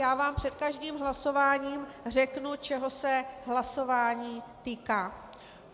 Já vám před každým hlasováním řeknu, čeho se hlasování týká.